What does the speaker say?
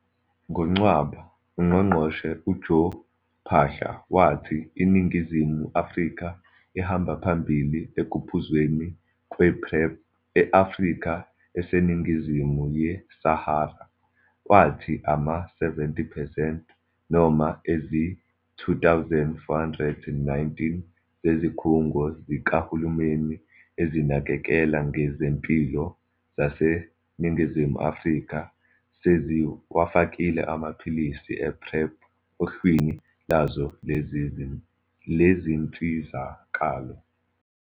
NgoNcwaba, uNgqongqoshe u-Joe Phaahla wathi iNingizimu Afrika ihamba phambili ekuphuzweni kwePrEP e-Afrika eseningizimu ye-Sahara. Wathi ama-70 percent, noma izi-2 419 zezikhungo zikahulumeni ezinakekela ngezempilo zaseNingizimu Afrika seziwafakile amaphilisi e-PrEP ohlwini lazo lezinsizakalo.